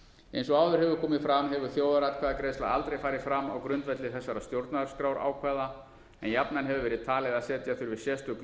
eins og áður hefur komið fram hefur þjóðaratkvæðagreiðsla aldrei farið fram á grundvelli þessara stjórnarskrárákvæða en jafnan hefur verið talið að setja þurfi sérstök